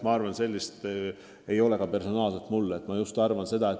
Ma arvan, et sellist eeskuju ei ole ka mul isiklikult.